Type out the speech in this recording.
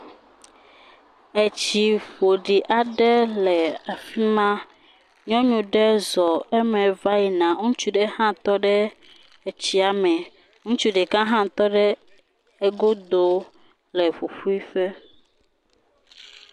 Etsi ƒoɖi aɖe le afi ma. Nyɔnu ɖe zɔ eme va yin a. Ŋutsu ɖe hã tɔ ɖe etsia me. Ŋutsu ɖeka aɖe hã tɔ ɖe egodo le ƒuƒuiƒe.